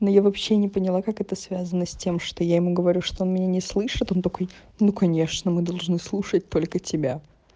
но я вообще не поняла как это связано с тем что я ему говорю что он меня не слышит он такой ну конечно мы должны слушать только тебя